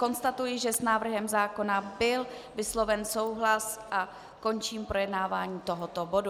Konstatuji, že s návrhem zákona byl vysloven souhlas, a končím projednávání tohoto bodu.